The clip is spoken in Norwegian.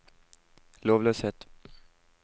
lovløshet